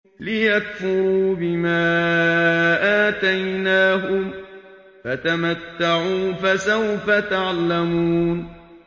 لِيَكْفُرُوا بِمَا آتَيْنَاهُمْ ۚ فَتَمَتَّعُوا ۖ فَسَوْفَ تَعْلَمُونَ